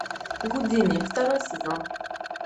гудини второй сезон